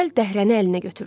Cəld dəhrəni əlinə götürdü.